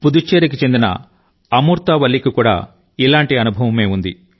పుదుచ్చేరికి చెందిన అమూర్తా వల్లి కి కూడా ఇలాంటి అనుభవమే ఉంది